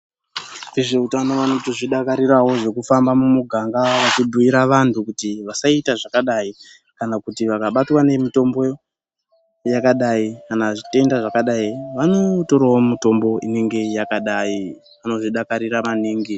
Vezveutano vanoto zvidakarirawo zvekuhamba mumiganga vechibhuyira vantu kuti vasaita zvakadai kana kuti vakabatwa nemutombo yakadai kana zvitenda zvakadai vanotorawo mutombo yakadai vanozvidakarira maningi.